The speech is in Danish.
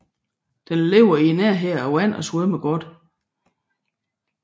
Den lever i nærheden af vand og svømmer godt